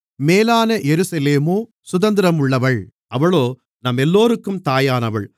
மேலான எருசலேமோ சுதந்திரம் உள்ளவள் அவளே நம்மெல்லோருக்கும் தாயானவள்